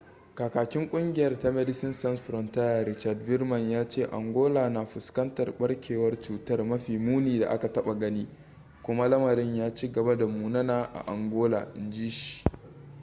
kakakin kungiyar ta medecines sans frontiere richard veerman ya ce angola na fuskantar barkewar cutar mafi muni da aka taba gani kuma lamarin ya ci gaba da munana a angola in ji shi